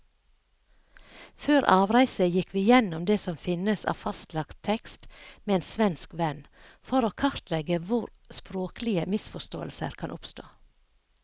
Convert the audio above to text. Før avreise gikk vi gjennom det som finnes av fastlagt tekst med en svensk venn, for å kartlegge hvor språklige misforståelser kan oppstå.